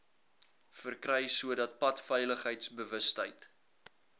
verkry sodat padveiligheidsbewustheid